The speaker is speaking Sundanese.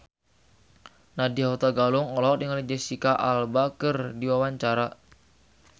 Nadya Hutagalung olohok ningali Jesicca Alba keur diwawancara